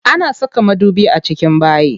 Ana saka madubi a cikin bayi.